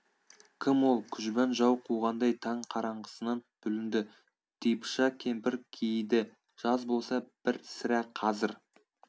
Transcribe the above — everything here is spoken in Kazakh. кім ол күжбан жау қуғандай таң қараңғысынан бүлінді типыша кемпір кейіді жаз болса бір сірә қазір